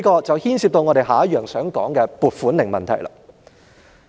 這牽涉我接着要談的"撥款令"問題。